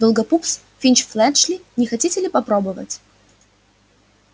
долгопупс финч-флетчли не хотите ли попробовать